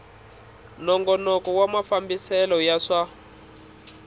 nongonoko wa mafambisele ya swa